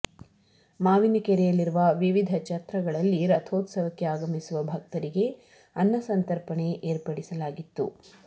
ಮಾವಿನ ಕೆರೆಯಲ್ಲಿರುವ ವಿವಿಧ ಛತ್ರಗಳಲ್ಲಿ ರಥೋತ್ಸವಕ್ಕೆ ಆಗಮಿಸುವ ಭಕ್ತರಿಗೆ ಅನ್ನಸಂತರ್ಪಣೆ ಏರ್ಪಡಿಸಲಾಗಿತ್ತು